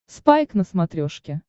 спайк на смотрешке